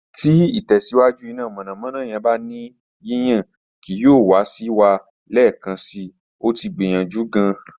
Ti itẹsiwaju ina mọnamọna yẹn ba ni yiyan kii yoo wa si wa lẹẹkansi, o ti gbiyanju gaan